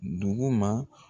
Duguma.